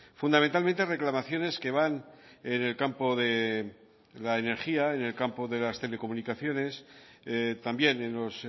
fundamentalmente reclamaciones que van en el campo de la energía en el campo de las telecomunicaciones también en los